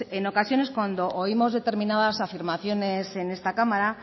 en ocasiones cuando oímos determinadas afirmaciones en esta cámara